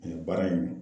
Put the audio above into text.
baara in